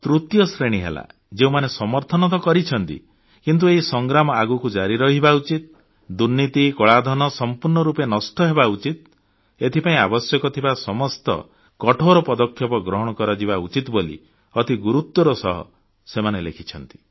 ତୃତୀୟ ଶ୍ରେଣୀ ହେଲା ଯେଉଁମାନେ ସମର୍ଥନ ତ କରିଛନ୍ତି କିନ୍ତୁ ଏହି ସଂଗ୍ରାମ ଆଗକୁ ଜାରି ରହିବା ଉଚିତ ଦୁର୍ନୀତି କଳାଧନ ସମ୍ପୂର୍ଣ୍ଣ ରୂପେ ନଷ୍ଟହେବା ଉଚିତ ଏଥିପାଇଁ ଆବଶ୍ୟକ ଥିବା ସମସ୍ତ କଠୋର ପଦକ୍ଷେପ ଗ୍ରହଣ କରାଯିବା ଉଚିତ ବୋଲି ଅତି ଗୁରୁତ୍ୱର ସହ ଲେଖିଛନ୍ତି